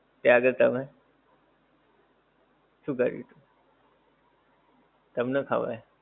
ત્યાં આગળ તમે, શું કર્યું તું? તમને ખબર.